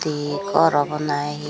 he gor obow na he.